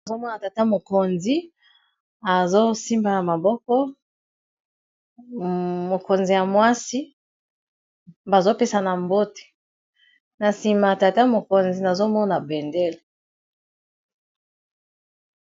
Nazomona tata mokonzi asimbi loboko ya mokonzi ya mwasi, bazopesana mbote na sima tata mokonzi azotala bendele.